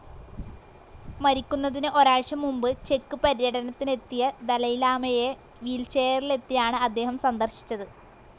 മരിക്കുന്നതിന് ഒരാഴ്ച്ച മുമ്പ് ചെക്ക്‌ പര്യടനത്തിനെത്തിയ ദലൈലാമയെ വീൽചെയറിലെത്തിയാണ് അദ്ദേഹം സന്ദർശിച്ചത്.